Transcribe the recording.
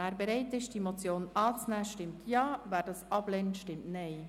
Wer bereit ist, die Motion anzunehmen, stimmt Ja, wer diese ablehnt, stimmt Nein.